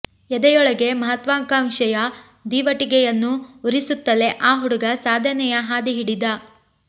ಎದೆಯೊಳಗೆ ಮಹತ್ವಕಾಂಕ್ಷೆಯ ದೀವಟಿಗೆಯನ್ನು ಉರಿಸುತ್ತಲೇ ಆ ಹುಡುಗ ಸಾಧನೆಯ ಹಾದಿ ಹಿಡಿದ